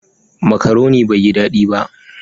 "Macaroni" bai yi dadi ba.